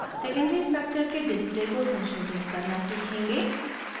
secondary structure के display को संशोधित करना सीखेंगे